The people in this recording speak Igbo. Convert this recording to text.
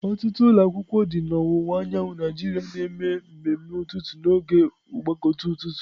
Ọtụtụ ụlọ akwụkwọ dị na ọwụwa anyanwụ Nigeria na-eme mmemme ụtụtụ n'oge mgbakọ ụtụtụ.